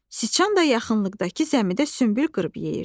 Siçan da yaxınlıqdakı zəmidə sümbül qırıb yeyirdi.